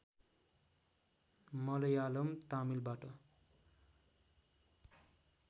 Malayalam तमिलबाट